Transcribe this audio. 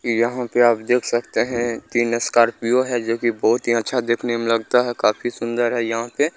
यहाँ पे देख सकते है तीन स्कार्पिओ है जो की बहुत ही अच्छा देखने में लगता है काफी सूंदर है यहाँ पे--